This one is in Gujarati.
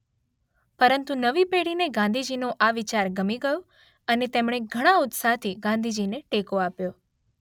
પરંતુ નવી પેઢીને ગાંધીજીનો આ વિચાર ગમી ગયો અને તેમણે ઘણા ઉત્સાહથી ગાંધીજીને ટેકો આપ્યો.